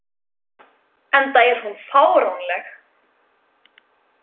Enda er hún fáránleg.